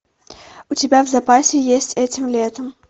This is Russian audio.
у тебя в запасе есть этим летом